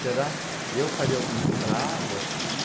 Será? Eu faria algum estrago aqui?